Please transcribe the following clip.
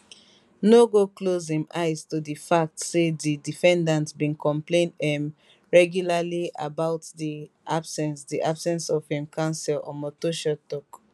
no go close im eyes to di fact say di defendant bin complain um regularly about di absence di absence of im counsel omotosho tok